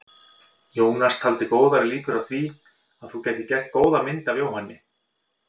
Jónas taldi góðar líkur á að þú gætir gert góða mynd af Jóhanni.